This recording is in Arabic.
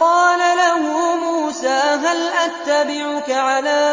قَالَ لَهُ مُوسَىٰ هَلْ أَتَّبِعُكَ عَلَىٰ